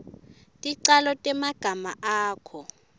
ticalo temagama akho